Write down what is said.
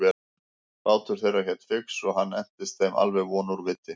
Bátur þeirra hét Fix og hann entist þeim alveg von úr viti.